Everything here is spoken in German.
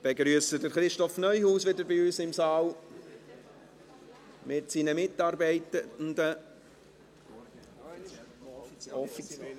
Ich begrüsse Christoph Neuhaus wieder bei uns im Saal mit seinen Mitarbeitenden.